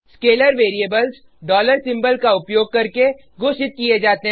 scalar variables symbol का उपयोग करके घोषित किये जाते हैं